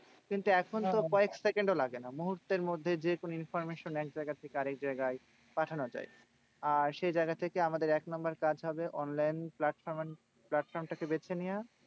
কিন্তু এখন তো কয়েক সেকেন্ডও লাগে না। মুহূর্তের মধ্যে যেকোনো information এক জায়গা থেকে আরেক জায়গায় পাঠানো যায়। আর সে জায়গা থেকে আমাদের এক number কাজ হবে, online platform platform টা কে বেছে নিয়ে